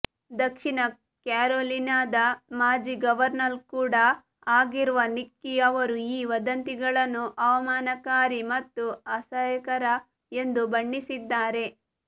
ದಕ್ಷಿಣ ಕ್ಯಾರೊಲಿನಾದ ಮಾಜಿ ಗವರ್ನರ್ ಕೂಡ ಆಗಿರುವ ನಿಕ್ಕಿ ಅವರು ಈ ವದಂತಿಗಳನ್ನು ಅವಮಾನಕಾರಿ ಮತ್ತು ಅಸಹ್ಯಕರ ಎಂದು ಬಣ್ಣಿಸಿದ್ದಾರೆ